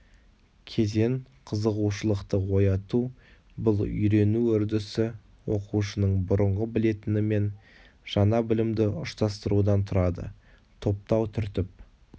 кезең қызығушылықты ояту бұл үйрену үрдісі оқушының бұрынғы білетіні мен жаңа білімді ұштастырудан тұрады топтау түртіп